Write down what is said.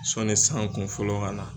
Sɔnni san kunfɔlɔ ka na.